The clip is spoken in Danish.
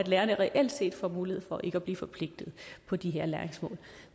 lærerne reelt set får mulighed for ikke at blive forpligtet på de her læringsmål